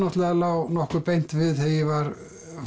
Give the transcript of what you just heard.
það lá nokkuð beint við þegar ég var